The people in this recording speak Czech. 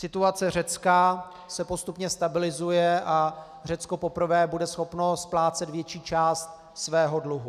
Situace Řecka se postupně stabilizuje a Řecko poprvé bude schopno splácet větší část svého dluhu.